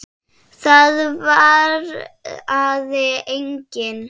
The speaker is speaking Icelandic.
Það svaraði enginn.